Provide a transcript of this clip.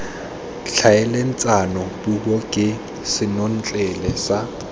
tlhaeletsano puo ke senotlele sa